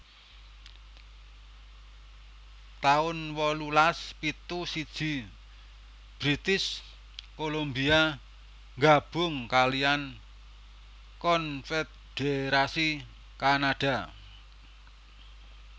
taun wolulas pitu siji British Columbia nggabung kaliyan konfédherasi Kanada